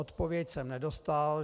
Odpověď jsem nedostal.